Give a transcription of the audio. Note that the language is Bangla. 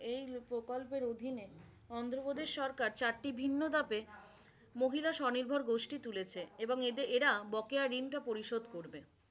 এই প্রকল্পের অধীনে অন্ধ্রপ্রদেশ সরকার চারটি ভিন্ন ধাপে মহিলা স্বনির্ভর গোষ্ঠী তুলেছে এবং এরা বকেয়া ঋণ পরিশোধ করছে।